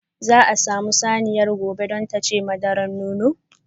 Za a samu saniyar gobe don tace madura nonon.